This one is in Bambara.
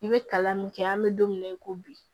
I bɛ kalan min kɛ an bɛ don min na i ko bi